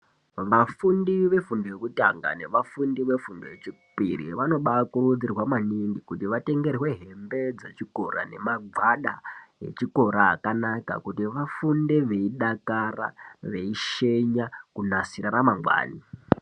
Vafundi vefundo yekutanga nevafundi vefundo yechipiri vanokurudzirwa maningi kuti vatengerwe hembe dzechikora nemagwada echikora kuti vafunde veidakara, veishenya kunasira ramangwani.